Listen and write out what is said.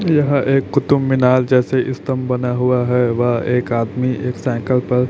यह एक कुतुब मीनार जैसे स्तंभ बना हुआ है वह एक आदमी एक साइकिल पर--